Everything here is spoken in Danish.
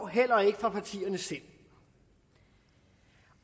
heller ikke fra partierne selv